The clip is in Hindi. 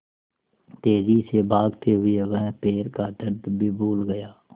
तेज़ी से भागते हुए वह पैर का दर्द भी भूल गया